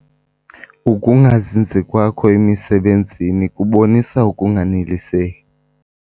Uukungazinzi kwakho emisebenzini kubonisa ukunganeliseki.